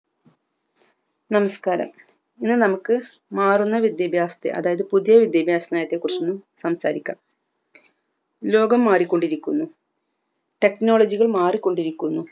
നമസ്ക്കാരം ഇന്ന് നമുക്ക് മാറുന്ന വിദ്യാഭ്യാസത്തെ അതായത് പുതിയ വിദ്യാഭ്യാസന്നത്തെ കുറിച്ച്ന്ന് സംസാരിക്കാം ലോകം മാറിക്കൊണ്ടിരിക്കുന്നു technology കൾ മാറിക്കൊണ്ടിരിക്കുന്നു